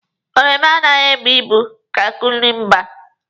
Oromo anaghị ebu ibu ka kukumba.